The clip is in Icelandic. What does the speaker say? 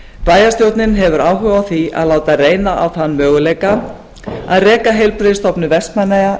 bæjarstjórnin hefur áhuga á því að láta reyna á þann möguleika að reka heilbrigðisstofnun vestmannaeyja